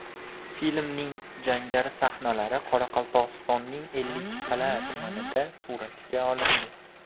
Filmning jangari sahnalari Qoraqalpog‘istonning Ellikqal’a tumanida suratga olindi.